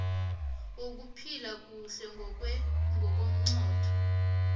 wokuphila kuhle ngokwengqondo